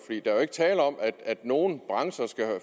er jo ikke tale om at nogen brancher skal